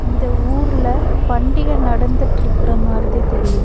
இந்த ஊர்ல பண்டிக நடந்துட்ருக்க மாரிதி தெரியித்.